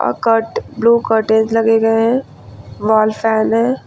Eckhart blue curtains लगे गए हैं वॉल फैन हैं।